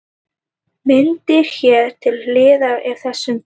Myndin hér til hliðar er af þessum bíl.